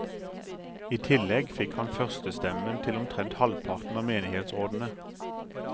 I tillegg fikk han førstetemmen til omtrent halvparten av menighetsrådene.